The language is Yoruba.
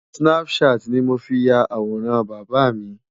snapchat ni mo fi ya àwòrán bàbà mi.